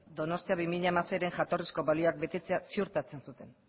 donostia bi mila hamaseiren jatorrizko balioak betetzea ziurtatzen zuten